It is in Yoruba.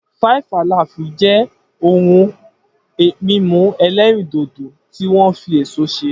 Five Alive jẹ́ ohun mímu ẹlẹ́rìndòdò tí wọ́n fi èso ṣe